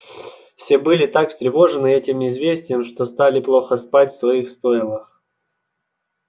все были так встревожены этим известием что стали плохо спать в своих стойлах